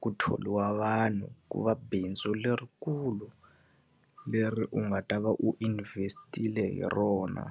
ku thoriwa vanhu, ku va bindzu lerikulu. Leri u nga ta va u invest-ile hi rona.